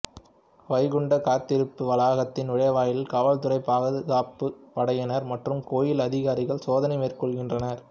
வைகுண்டம் காத்திருப்பு வளாகத்தின் நுழைவாயிலில் காவல்துறை பாதுகாப்புப் படையினர் மற்றும் கோயில் அதிகாரிகள் சோதனை மேற்கொள்கின்றனர்